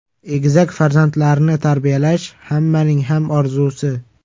Egizak farzandlarni tarbiyalash hammaning ham orzusi.